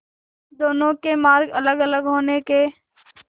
दोनों के मार्ग अलगअलग होने के